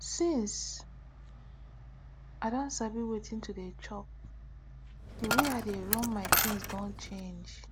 since i don sabi wetin to dey chop the way i dey run my things don change